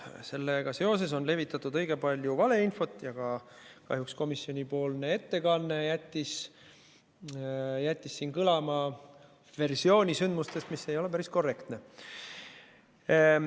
Sellega seoses on levitatud õige palju valeinfot ja ka kahjuks komisjonipoolne ettekanne jättis siin kõlama versiooni sündmustest, mis ei ole päris korrektne.